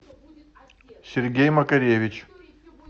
сергей макаревич